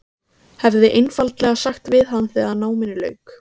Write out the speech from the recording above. Hefði einfaldlega sagt við hann þegar náminu lauk.